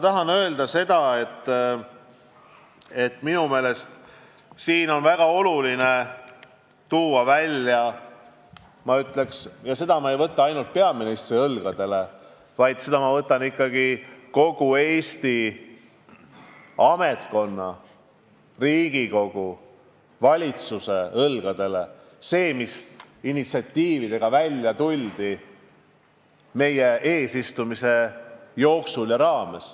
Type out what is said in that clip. Tahan öelda, et minu meelest on väga oluline välja tuua – ja seda ülesannet ma ei seosta ainult peaministriga, vaid kogu Eesti ametkonna, Riigikogu ja valitsusega –, mis initsiatiividega tuldi välja meie eesistumise aja jooksul.